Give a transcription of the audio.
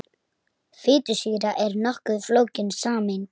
Fitusýra er nokkuð flókin sameind.